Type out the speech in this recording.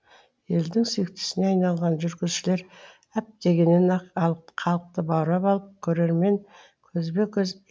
елдің сүйіктісіне айналған жүргізушілер әп дегеннен ақ халықты баурап алып көрермен көзбе көз